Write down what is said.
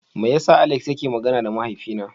Meya sa Alex yana magana da mahaifi na?